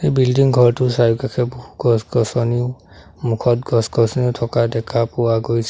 Building ঘৰটোৰ চাৰিওকাষে বহু গছ-গছনি সন্মুখত গছ-গছনি থকা দেখা পোৱা গৈছে।